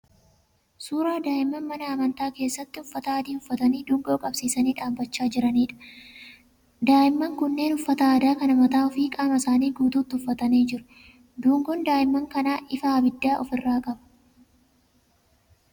Suuraa daa'imman mana amantaa keessatti uffata adii uffatanii dungoo qabsiisanii dhaabbachaa jiraniidha. Daa'imman kunneen uffata adii kana mataa fi qaama isaanii guutuutti uffatanii jiru. Dungoon daa'imman kanaa ifaa ibiddaa ofi irraa qaba.